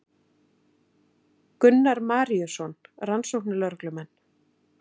Gunnar Maríuson rannsóknarlögreglumenn.